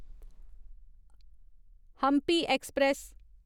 Hampi express